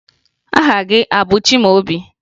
Aha gị a bụ Chimaobi?